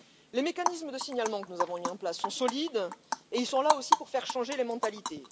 Les mécanismes de signalement que nous avons mis en place sont solides et ils sont là aussi pour faire changer les mentalités.